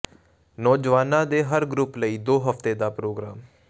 ਨੌਜਵਾਨਾਂ ਦੇ ਹਰ ਗਰੁੱਪ ਲਈ ਦੋ ਹਫ਼ਤੇ ਦਾ ਪ੍ਰੋਗਰਾਮ